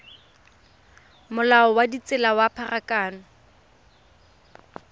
molao wa ditsela wa pharakano